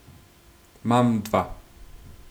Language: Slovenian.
Mam dva.